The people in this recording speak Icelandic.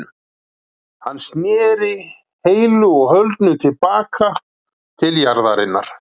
Hann sneri heilu og höldnu til baka til jarðarinnar.